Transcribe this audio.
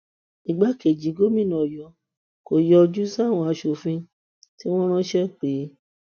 igbákejì gómìnà ọyọ kò yọjú sáwọn aṣòfin tí wọn ránṣẹ pè é